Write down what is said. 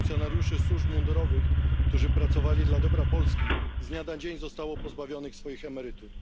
funkcjonariuszy służb mundurowych, którzy pracowali dla dobra Polski, z dnia na dzień zostało pozbawionych swoich emerytur.